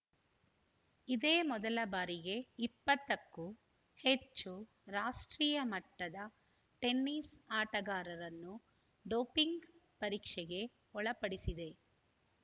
ಇದೇ ಮೊದಲ ಬಾರಿಗೆ ಇಪ್ಪತ್ತಕ್ಕೂ ಹೆಚ್ಚು ರಾಷ್ಟ್ರೀಯ ಮಟ್ಟದ ಟೆನಿಸ್‌ ಆಟಗಾರರನ್ನು ಡೋಪಿಂಗ್‌ ಪರೀಕ್ಷೆಗೆ ಒಳಪಡಿಸಿದೆ